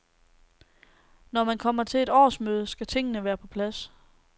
Når man kommer til et årsmøde, skal tingene være på plads.